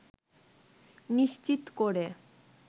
নিশ্চিত করে